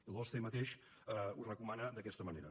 i l’osce mateix ho recomana d’aquesta manera